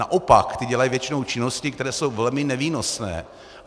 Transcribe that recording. Naopak, ty dělají většinou činnosti, které jsou velmi nevýnosné.